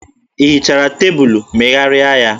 Ị hichara tebụlụ, megharịa ya!